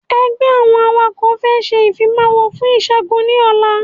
Ẹgbẹ́ àwọn awakọ̀ fẹ́ ṣe ìfimawo fún ṣẹgun ní ọ̀la